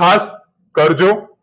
ખાસ કરજો